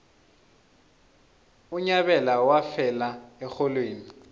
unyabela wafela erholweni